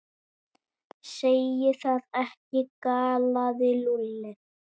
Segir það ekki? galaði Lúlli.